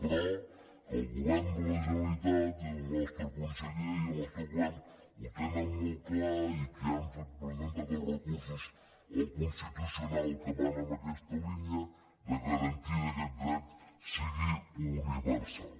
però el govern de la generalitat i el nostre conseller i el nostre govern ho tenen molt clar i han presentat els recursos al constitucional que van en aquesta línia de garantir que aquest dret sigui universal